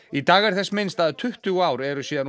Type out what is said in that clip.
í dag er þess minnst að tuttugu ár eru síðan